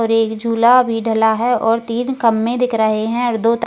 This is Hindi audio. और एक झूला भी ढला है और तीन खम्बे दिख रहे है और दो --